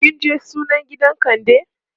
kinje sunan gidan kande?